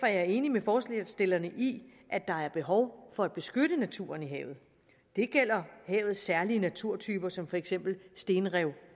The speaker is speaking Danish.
jeg enig med forslagsstillerne i at der er behov for at beskytte naturen i havet det gælder havets særlige naturtyper som for eksempel stenrev